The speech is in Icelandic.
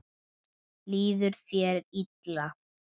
Líður þér illa?